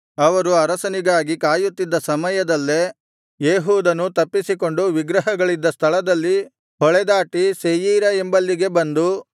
ಅವರು ಅರಸನಿಗಾಗಿ ಕಾಯುತ್ತಿದ್ದ ಸಮಯದಲ್ಲೇ ಏಹೂದನು ತಪ್ಪಿಸಿಕೊಂಡು ವಿಗ್ರಹಗಳಿದ್ದ ಸ್ಥಳದಲ್ಲಿ ಹೊಳೆದಾಟಿ ಸೆಯೀರಾ ಎಂಬಲ್ಲಿಗೆ ಬಂದು